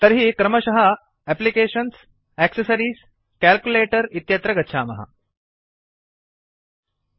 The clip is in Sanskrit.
तर्हि क्रमशः एप्लिकेशन्सग्टेक्सेसेसरिएसग्ट्ग्ट्रिसग्ट्केलालकेलकलकलकल्कल्टकलालालकलकलकल्कल्कलाला इत्यत्र गच्छामः